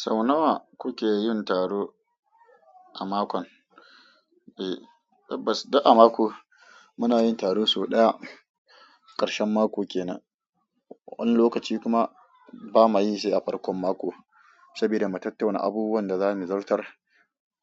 Sau nawa kuke yin taro a makon? Tabbas, duk a mako muna yin taro sau ɗaya, ƙarshen mako kenan. Wani lokaci kuma bama yi shi a farkon mako, saboda mu tattauna abubuwan da za muyi zartar,